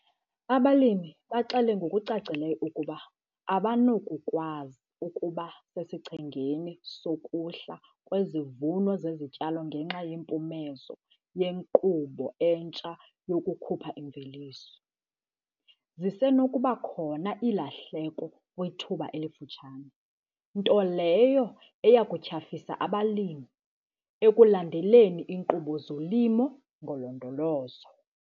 Abalimi baxele ngokucacileyo ukuba abanakukwazi ukuba sesichengeni sokuhla kwezivuno zezityalo ngenxa yempumezo yenkqubo entsha yokukhupha imveliso. Zisenokuba khona iilahleko kwithuba elifutshane, nto leyo eya kutyhafisa abalimi ekulandeleni inkqubo yezolimo ngolondolozo.